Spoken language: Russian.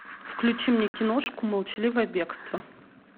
включи мне киношку молчаливое бегство